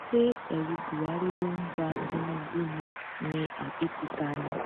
ṣé ẹrù buhari ló ń ba tinubu ni ni àbí títa ni